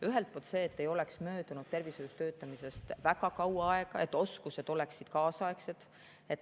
Ühelt poolt see, et tervishoius töötamisest ei oleks möödunud väga kaua aega, et oskused oleksid kaasaegsed.